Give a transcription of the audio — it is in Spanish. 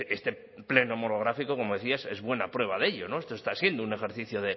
este pleno monográfico como decía es buena prueba de ello esto está siendo un ejercicio